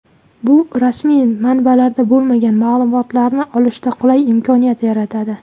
Bu rasmiy manbalarda bo‘lmagan ma’lumotlarni olishda qulay imkoniyat yaratadi.